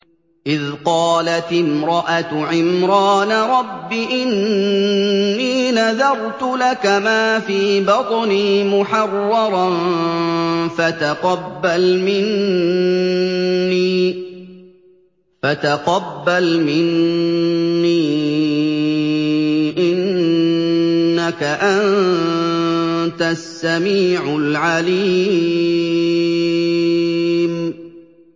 إِذْ قَالَتِ امْرَأَتُ عِمْرَانَ رَبِّ إِنِّي نَذَرْتُ لَكَ مَا فِي بَطْنِي مُحَرَّرًا فَتَقَبَّلْ مِنِّي ۖ إِنَّكَ أَنتَ السَّمِيعُ الْعَلِيمُ